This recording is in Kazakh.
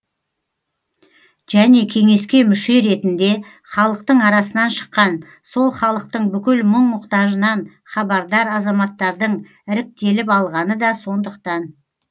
және кеңеске мүше ретінде халықтың арасынан шыққан сол халықтың бүкіл мұң мұқтажынан хабардар азаматтардың іріктеліп алғаны да сондықтан